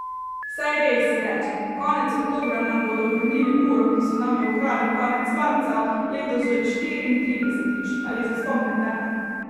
Saj res, si rečem, konec oktobra nam bodo vrnili uro, ki so nam jo ukradli konec marca, letos že štiriintridesetič, ali se spomnite?